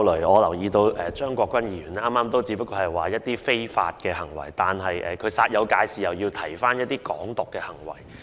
我留意到，張國鈞議員剛才只是提到一些非法行為，但司長卻煞有介事地提及"港獨"行為。